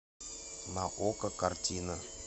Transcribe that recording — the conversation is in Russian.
на окко картина